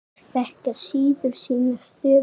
Þeir þekkja síður sína stöðu.